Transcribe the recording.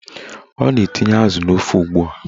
Ọ na-etinye azụ n'ofe ugbua